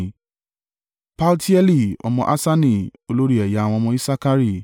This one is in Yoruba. Paltieli ọmọ Assani, olórí ẹ̀yà àwọn ọmọ Isakari;